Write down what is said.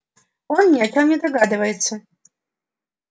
он ни о чём не догадывается